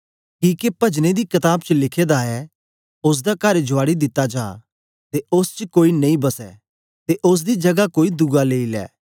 किके पजनें दी कताब च लिखे दा ऐ ओसदा कर जुआड़ी दित्ता जा ते ओस च कोई नेई बसे ते ओसदी जगा कोई दुआ लेई लै